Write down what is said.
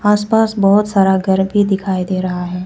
आसपास बहोत सारा घर भी दिखाई दे रहा है।